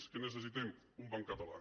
què necessitem un banc català